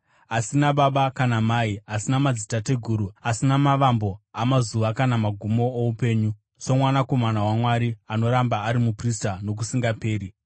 Asina baba kana mai, asina madzitateguru, asina mavambo amazuva kana magumo oupenyu, soMwanakomana waMwari anoramba ari muprista nokusingaperi.